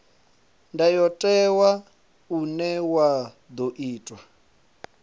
ndayotewa une wa ḓo itwa